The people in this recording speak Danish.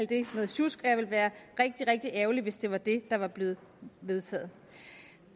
det noget sjusk og jeg ville være rigtig rigtig ærgerlig hvis det var det der var blevet vedtaget